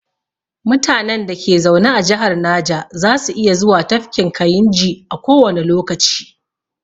Mutanen da ke zaune a jihar naja za su iya zuwa tafkin kayinji a kowane lokaci